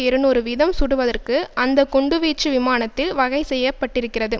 இருநூறு வீதம் சுடுவதற்கு அந்த குண்டுவீச்சு விமானத்தில் வகைசெய்யப்பட்டிருக்கிறது